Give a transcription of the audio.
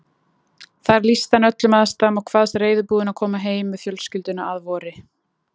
Þar lýsti hann öllum aðstæðum og kvaðst reiðubúinn að koma heim með fjölskylduna að vori.